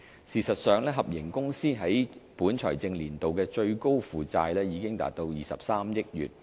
事實上，合營公司在本財政年度的最高負債已達23億元。